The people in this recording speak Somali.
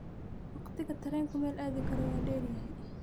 wakhtiga tareenku meel aadi karo waa dheer yahay